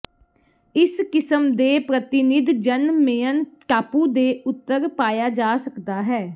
ਇਸ ਕਿਸਮ ਦੇ ਪ੍ਰਤੀਨਿਧ ਜਨ ਮੇਅਨ ਟਾਪੂ ਦੇ ਉੱਤਰ ਪਾਇਆ ਜਾ ਸਕਦਾ ਹੈ